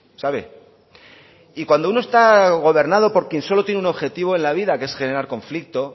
sabe y cuando uno está gobernado por quien solo tiene un objetivo en la vida que es generar conflicto